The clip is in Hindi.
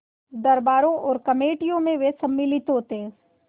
दरबारों और कमेटियों में वे सम्मिलित होते